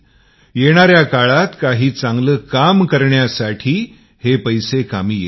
येणाऱ्या काळात काही चांगले काम करता येईल